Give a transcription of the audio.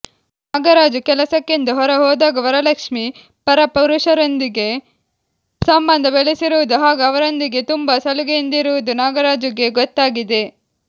ನಾಗರಾಜು ಕೆಲಸಕ್ಕೆಂದು ಹೊರ ಹೋದಾಗ ವರಲಕ್ಷ್ಮೀ ಪರ ಪುರುಷರೊಂದಿಗೆ ಸಂಬಂಧ ಬೆಳೆಸಿರುವುದು ಹಾಗೂ ಅವರೊಂದಿಗೆ ತುಂಬಾ ಸಲುಗೆಯಿಂದಿರುವುದು ನಾಗರಾಜುಗೆ ಗೊತ್ತಾಗಿದೆ